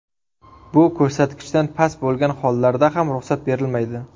Bu ko‘rsatkichdan past bo‘lgan hollarda ham ruxsat berilmaydi.